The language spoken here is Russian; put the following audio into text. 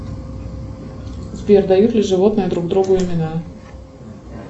сбер дают ли животные друг другу имена